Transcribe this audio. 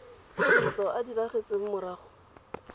setso a a diragetseng morago